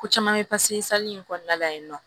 Ko caman bɛ in kɔnɔna la yen nɔ